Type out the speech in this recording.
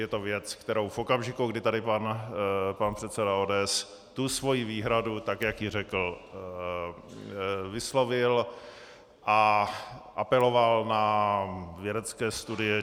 Je to věc, kterou v okamžiku, kdy tady pan předseda ODS tu svoji výhradu, tak jak ji řekl, vyslovil a apeloval na vědecké studie.